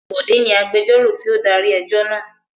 Bọ̀dé ni agbẹjọ́rò tí ó darí ẹjọ́ náà.